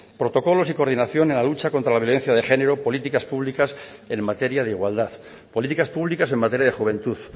protocolos y coordinación en la lucha contra la violencia de género políticas públicas en materia de igualdad políticas públicas en materia de juventud